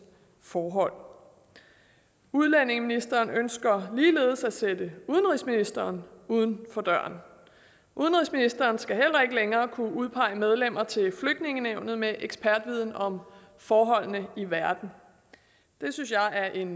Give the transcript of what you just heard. forhold udlændingeministeren ønsker ligeledes at sætte udenrigsministeren uden for døren udenrigsministeren skal heller ikke længere kunne udpege medlemmer til flygtningenævnet med ekspertviden om forholdene i verden det synes jeg er en